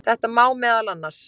Þetta má meðal annars.